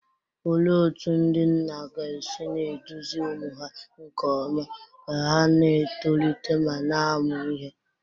Olee otú ndị nna ga-esi na-eduzi ụmụ ha nke ọma ka ha na-etolite ma na-amụ ihe?